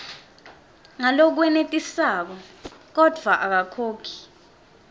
ngalokwenetisako kodvwa akakhoni